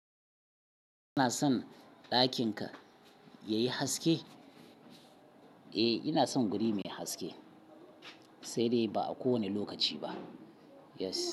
Kana son ɗakin ka yayi haske? Eh ina son wuri mai haske, sai dai ba a kowane lokaci ba, yes.